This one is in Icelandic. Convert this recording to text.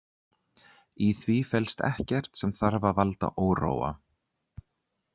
Í því felst ekkert sem þarf að valda óróa